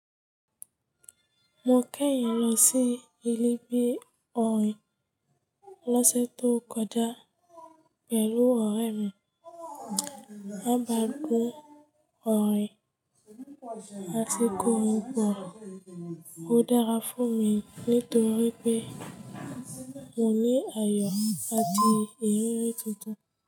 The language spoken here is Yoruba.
Mo kẹ́yìn lọ sí ì bí ọ̀rìín lọ́sẹ̀ tó kọjá pẹ̀lú ọ̀rẹ́ mi. A bá gùn ọ̀rìín àsìkò n bọ̀. Ó dára fún mi nítorí pé mo ní àyò àti ìrírí tuntun.